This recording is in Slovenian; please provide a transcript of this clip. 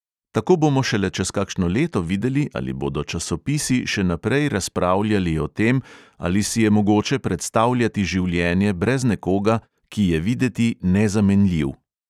Tako bomo šele čez kakšno leto videli, ali bodo časopisi še naprej razpravljali o tem, ali si je mogoče predstavljati življenje brez nekoga, ki je videti nezamenljiv.